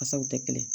Fasaw tɛ kelen ye